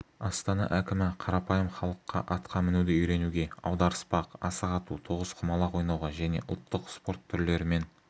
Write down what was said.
астана әкімі қарапайым халыққа атқа мінуді үйренуге аударыспақ асық ату тоғызқұмалақ ойнауға және ұлттық спорт түрлерімен